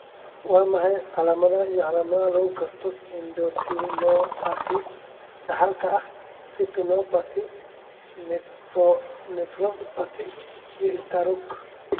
Waa maxay calaamadaha iyo calaamadaha lagu garto endothelopathy dhaxalka ah, retinopathy, nephropathy, iyo istaroog?